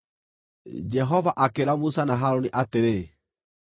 Jehova akĩĩra Musa na Harũni atĩrĩ,